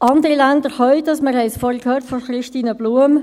Andere Länder können es, wir haben es vorhin von Christine Blum gehört.